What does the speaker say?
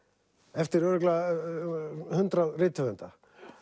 eftir örugglega hundrað rithöfunda